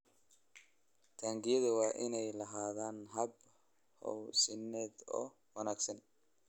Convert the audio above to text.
Taangiyada waa inay lahaadaan habab hawosiineed oo wanaagsan.